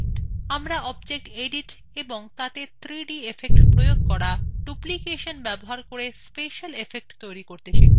আমরা objects edit এবং তাতে 3d effects প্রয়োগ করা এবং ডুপলিকেশন ব্যবহার করে special effects তৈরী করতে শিখব